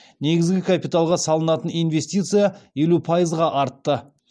негізгі капиталға салынатын инвестиция елу пайызға артты